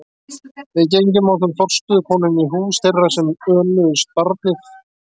Við gengum ásamt forstöðukonunni inn í hús þeirra sem önnuðust barnið.